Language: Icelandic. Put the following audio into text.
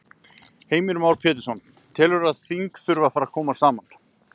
Heimir Már Pétursson: Telurðu að þing þurfi að fara að koma saman?